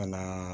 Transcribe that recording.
Ka na